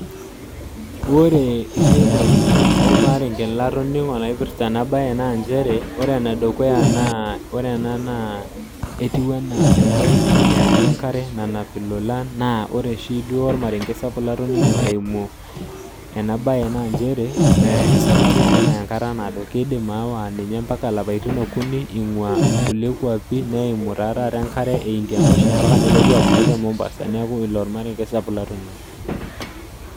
Wore irrereni olmaarenge latoningo naipirta ena baye naa nchere, wore ene dukuya naa wore ena naa etiui ena engarii eatua nkare nanap ilolan. Naa wore oshi duo olmarenge sapuk latoningo eimu ena baye naa nchere, esafari ena naya enkata naado. Kiindim aawa ninye ambaka ilapaitin okuni ingua inkulie kuapin, neimu taa taata enkare ee Indian ocean ambaka nelotu apuku te Mombasa. Neeku ilo olmarenge sapuk latoningo.